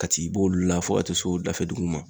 Ka t'i bo olu la fo ka taa se o dafɛ dugu nunnu ma.